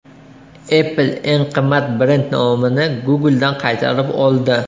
Apple eng qimmat brend nomini Google’dan qaytarib oldi.